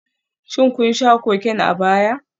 Shin kun sha Cocaine a baya?